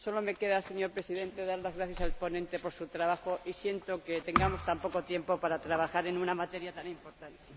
Solo me queda, señor Presidente, dar las gracias al ponente por su trabajo y siento que tengamos tan poco tiempo para trabajar en una materia tan importante.